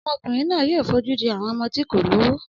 Ọmọkùnrin náà yóò fojú di àwọn ọmọ tí kò lówó.